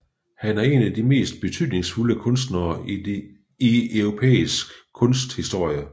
Han er en af de mest betydningsfulde kunstnere i europæisk kunsthistorie